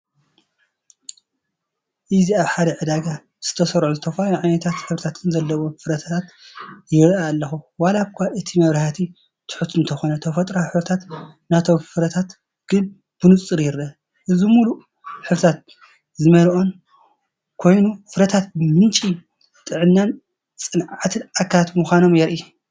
እዚ ኣብ ሓደ ዕዳጋ ዝተሰርዑ ዝተፈላለዩ ዓይነታትን ሕብርታትን ዘለዎም ፍረታት ይርኢ ኣለኹ። ዋላ እኳ እቲ መብራህቲ ትሑት እንተኾነ ተፈጥሮኣዊ ሕብሪ ናይቶም ፍረታት ግን ብንጹር ይርአ። እዚ ምሉእን ሕብሪ ዝመልአን ኮይኑ! ፍረታት ምንጪ ጥዕናን ጸዓትን ኣካላት ምዃኖም የርኢ።